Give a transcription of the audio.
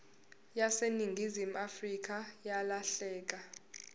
yaseningizimu afrika yalahleka